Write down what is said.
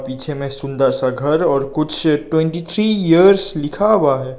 पीछे में सुंदर सा घर और कुछ ट्वेंटी थ्री इयर्स लिखा हुआ है।